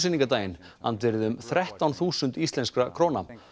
frumsýningardaginn andvirði um þrettán þúsund íslenskra króna